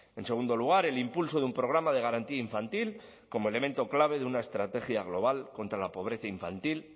en segundo lugar el impulso de un programa de garantía infantil como elemento clave de una estrategia global contra la pobreza infantil